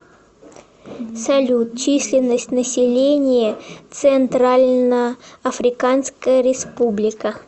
салют численность населения центральноафриканская республика